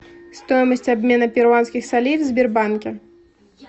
стоимость обмена перуанских солей в сбербанке